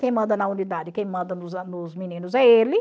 Quem manda na unidade, quem manda nos nos meninos é ele.